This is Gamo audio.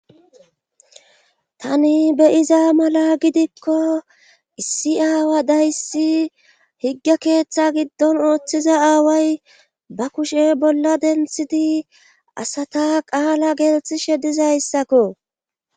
Tani be'iza mala gidikko issi aawa dayssi. Higge keeththa giddon ooththiza aaway ba kushe bolla denthidi asata qaala gelisishe diza issakko.